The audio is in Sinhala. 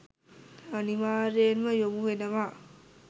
අනිවාර්යෙන්ම යොමුවෙනවා